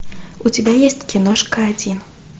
у тебя есть киношка один